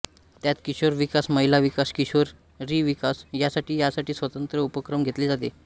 त्यात किशोर विकास महिला विकास किशोरी विकास यासाठी यासाठी स्वतंत्र उपक्रम घेतले जातात